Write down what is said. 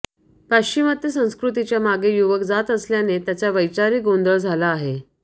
पाश्चिमात्य संस्कृतीच्या मागे युवक जात असल्याने त्यांचा वैचारिक गोंधळ झाला आहे